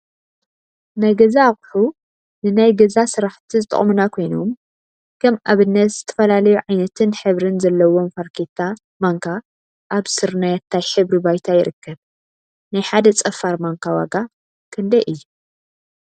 ናይ ገዛ አቁሑ ናይ ገዛ አቁሑ ንናይ ገዛ ስርሓቲ ዝጠቅሙና ኮይኖም፤ ከም አብነት ዝተፈላለዩ ዓይነትን ሕብሪን ዘለዎም ፋርኬታ ማንካ አብ ስርናየታይ ሕብሪ ባይታ ይርከብ፡፡ ናይ ሓደ ፀፋር ማንካ ዋጋ ክንደይ እዩ?